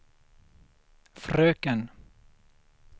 fröken